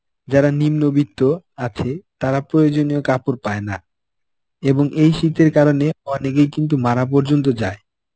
যারা নিম্নবিত্ত আছে তারা প্রয়োজনীয় কাপড় পায় না এবং এই শীতের কারণে অনেকেই কিন্তু মারা পর্যন্ত যায়.